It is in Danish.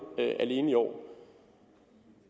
alene i år